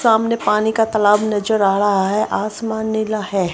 सामने पानी का तालाब नज़र आ रहा है आसमान नीला हैं।